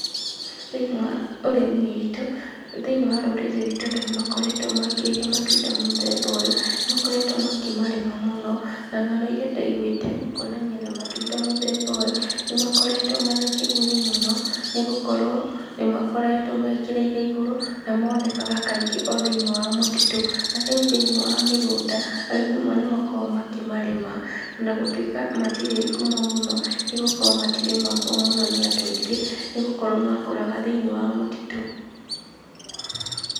Thĩinĩ wa ũrĩmi witũ, thĩinĩ wa rũrĩrĩ ruitũ andũ nĩmakoretwo mekĩrĩire matunda mũthemba ũyũ, nĩmakoretwo makĩmarĩma mũno, na ng'ano iria ndaiguĩte gũkonania na matunda mũthemba ũyũ, nĩmakoretwo mena kĩguni mũno, nĩgũkorwo nĩmakoretwo mekĩrĩire igũrũ, na monekaga kaingĩ othĩinĩ wa mũtitũ, na rĩu thĩinĩ wa mĩgũnda, arĩmi amwe nĩmakoragwo makĩmarĩma onagũtuĩka matirĩ ngumo mũno, nĩgũkorwo matirĩmagwo mũno nĩ andũ aingĩ nĩgũkorwo makũraga thĩinĩ wa mũtitũ.